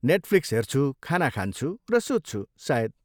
Netflix हेर्छु, खाना खान्छु, र सुत्छु, सायद।